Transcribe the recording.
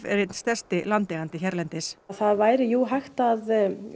er einn stærsti landeigandi hérlendis það væri jú hægt að